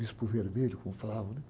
Bispo Vermelho, como falavam, né?